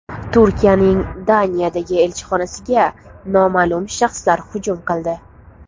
Turkiyaning Daniyadagi elchixonasiga noma’lum shaxslar hujum qildi.